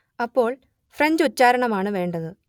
അപ്പോൾ ഫ്രഞ്ച് ഉച്ചാരണം ആണ് വേണ്ടത്